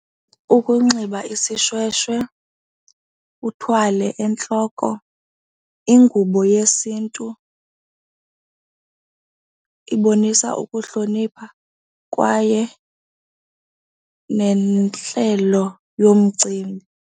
Ukunxiba isishweshwe, uthwale entloko. Ingubo yesiNtu ibonisa ukuhlonipha kwaye neentlelo yomcimbi.